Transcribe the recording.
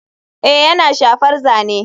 Ee yana shafar zane.